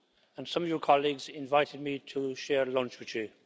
and some of your colleagues invited me to share lunch with you.